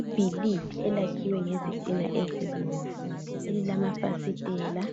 Ibhilidi elakhiwe ngezitina ezibomvu elilamafasitela